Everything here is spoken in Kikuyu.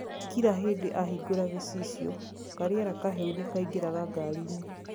kira hindi ahingũra gicicio, kariera kahehu nikaingiraga ngarĩ -ini.